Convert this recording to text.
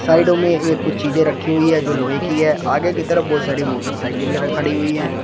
साइडों में ये कुछ चीजें रखी हुई है जो लोहे की है आगे की तरफ बहुत सारी मोटरसाइकिलें खड़ी हुई हैं।